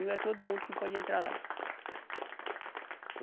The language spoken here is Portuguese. Não é todo mundo que pode entrar lá.